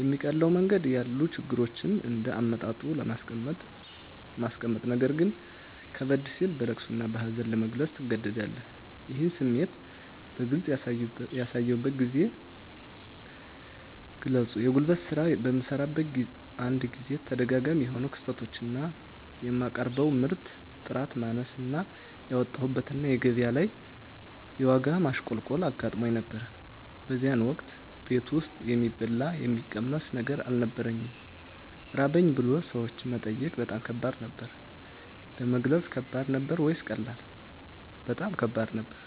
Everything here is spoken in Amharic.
የሚቀለው መንገድ ያሉ ችግሮችን እንደ አመጣጡ ለማስቀመጥነገር ግን ከበድ ሲል በለቅሶ እና በሀዘን ለመግለፅ ትገደዳለህ ይህን ስሜት በግልጽ ያሳዩበትን ጊዜ ግለጹ የጉልት ስራ በምሰራበት አንድ ጊዜ ተደጋጋሚ የሆኑ ክስረቶች እና የማቀርበው ምርት ጥራት ማነስ እና ያወጣሁበት እና ገቢያ ላይ የዋጋ ማሽቆልቆል አጋጥሞኝ ነበር በዚያን ወቅት ቤት ውስጥ የሚበላ የሚቀመስ ነገር አልነበረኝም ራበኝ ብሎ ሰዎችን መጠየቅ በጣም ከባድ ነበር። ለመግለጽ ከባድ ነበር ወይስ ቀላል? በጣም ከባድ ነበር